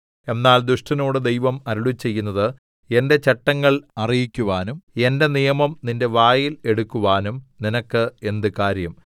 എന്നാൽ ദുഷ്ടനോട് ദൈവം അരുളിച്ചെയ്യുന്നത് എന്റെ ചട്ടങ്ങൾ അറിയിക്കുവാനും എന്റെ നിയമം നിന്റെ വായിൽ എടുക്കുവാനും നിനക്ക് എന്ത് കാര്യം